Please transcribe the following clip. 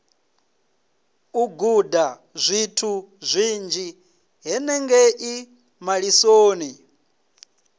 u gudazwithu zwinzhi henengei malisoni